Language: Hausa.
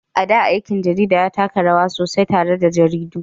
A da, aikin jarida ya taka rawa sosai tare da jaridu.